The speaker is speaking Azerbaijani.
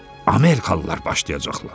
Amerikalılar başlayacaqlar.